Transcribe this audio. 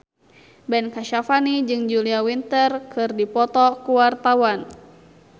Ben Kasyafani jeung Julia Winter keur dipoto ku wartawan